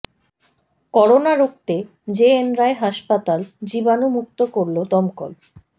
corona রুখতে J N Ray হাসপাতাল জীবাণুমুক্ত করল দমকল